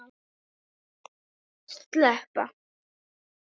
Hún þurfti stöðugt eftirlit, það var stöðug bið eftir næsta falli eða næstu roku.